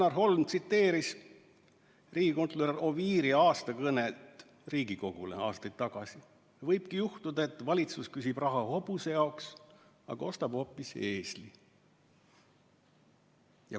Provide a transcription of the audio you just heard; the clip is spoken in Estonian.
Janar Holm tsiteeris riigikontrolör Mihkel Oviiri kõnet, mille ta Riigikogule aastaid tagasi pidas: "Nii võibki juhtuda, et valitsus küsib raha hobuse jaoks, aga ostab hoopis eesli.